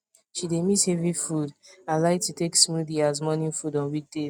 she dey miss heavy food and like to take smoothie as morning food on weekdays